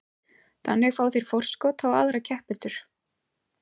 Þannig fá þeir forskot á aðra keppendur.